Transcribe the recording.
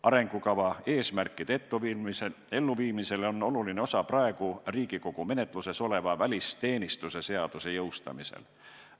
Arengukava eesmärkide elluviimisel on oluline osa praegu Riigikogu menetluses oleva välisteenistuse seaduse jõustamisel.